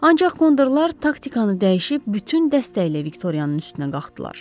Ancaq kondorlar taktikanı dəyişib bütün dəstəylə Viktoriyanın üstünə qalxdılar.